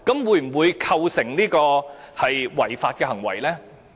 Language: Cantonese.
會否構成違法的行為呢？